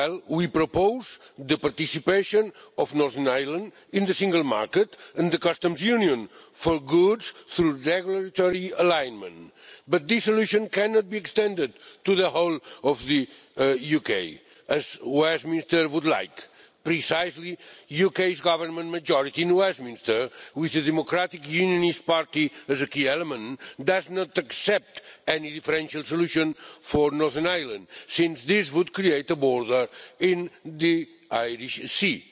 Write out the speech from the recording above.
We propose the participation of Northern Ireland in the Single Market and the Customs Union for goods through regulatory alignment. But this solution cannot be extended to the whole of the UK, as Westminster would like, precisely because the UK's government majority in Westminster of which the Democratic Unionist Party is a key element does not accept any differential solution for Northern Ireland, since this would create a border in the Irish Sea.